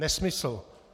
Nesmysl.